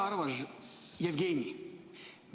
Hea armas Jevgeni!